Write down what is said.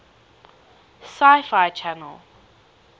sci fi channel